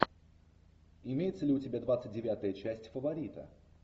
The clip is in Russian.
имеется ли у тебя двадцать девятая часть фаворита